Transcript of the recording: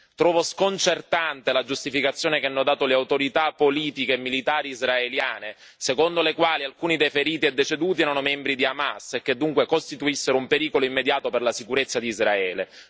Trovo sconcertante la giustificazione che hanno dato le autorità politiche e militari israeliane, secondo le quali alcuni dei feriti e deceduti erano membri di Hamas e che dunque costituissero un pericolo immediato per la sicurezza di Israele.